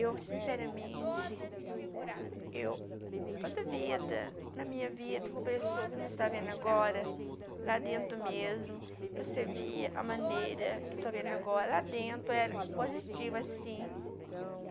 Eu, sinceramente, eu toda a vida, na minha vida, com a pessoa que você está vendo agora, lá dentro mesmo, você vê a maneira que eu estou vendo agora lá dentro, é positiva, sim.